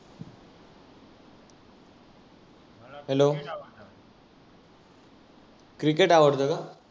Hollow cricket आवडतं का?